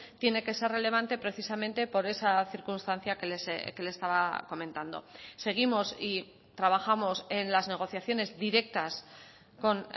tiene que ser relevante precisamente por esa circunstancia que le estaba comentando seguimos y trabajamos en las negociaciones directas con